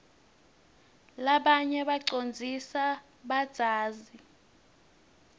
rabanye bacondzlsa badzazi